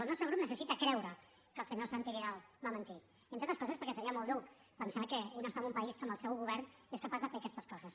el nostre grup necessita creure que el senyor santi vidal va mentir entre altres coses perquè seria molt dur pensar que un està en un país en què el seu govern és capaç de fer aquestes coses